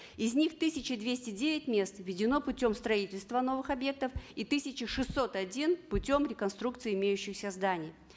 из них тысяча двести девять мест введено путем строительства новых объектов и тысяча шестьсот один путем реконструкций имеющихся зданий